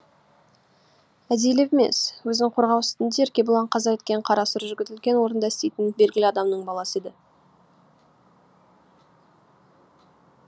әдейілеп емес өзін қорғау үстінде еркебұлан қаза еткен қара сұр жігіт үлкен орында істейтін белгілі адамның баласы еді